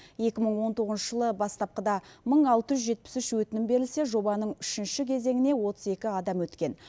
екі мың он тоғызыншы жылы бастапқыда мың алты жүз жетпіс үш өтінім берілсе жобаның үшінші кезеңіне отыз екі адам өткен